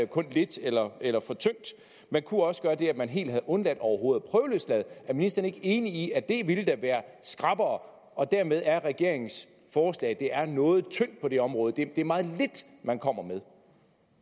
kun lidt eller eller for tyndt man kunne også gøre det at man helt havde undladt overhovedet at prøveløslade er ministeren ikke enig i at det ville være skrappere og at dermed er regeringens forslag noget tyndt på det område det er meget lidt man kommer